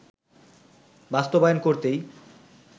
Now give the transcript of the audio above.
বাস্তবায়ন করতেই